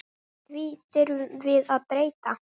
Því þurfum við að breyta.